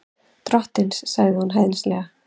Drottins, sagði hún hæðnislega.